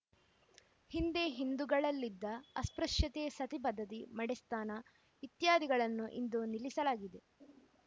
ಹಿಂದೆ ಹಿಂದೂಗಳಲ್ಲಿದ್ದ ಅಸ್ಪೃಶ್ಯತೆ ಸತಿ ಪದ್ಧತಿ ಮಡೆಸ್ನಾನ ಇತ್ಯಾದಿಗಳನ್ನು ಇಂದು ನಿಲ್ಲಿಸಲಾಗಿದೆ